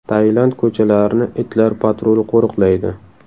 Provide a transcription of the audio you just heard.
Tailand ko‘chalarini itlar patruli qo‘riqlaydi.